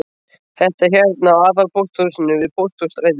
Þetta er hérna á aðalpósthúsinu við Pósthússtræti.